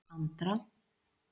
Andra